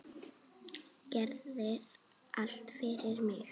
Gerðir allt fyrir mig.